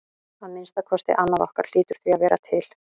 Að minnsta kosti annað okkar hlýtur því að vera til.